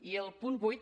i al punt vuit